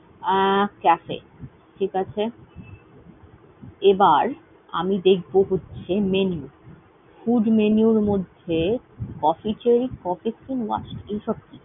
আহ cafe ঠিক আছে। এবার আমি দেখব হচ্ছে menu । Food menu এর মধ্যে, coffe এইসব।